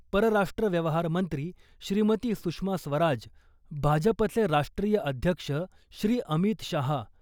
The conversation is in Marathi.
परराष्ट्र व्यवहार मंत्री श्रीमती सुषमा स्वराज , भाजपचे राष्ट्रीय अध्यक्ष श्री . अमित शहा